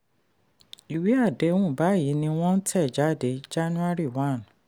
ìwé-àdéhùn báyìí ni wọ́n tẹ̀ jáde january 1.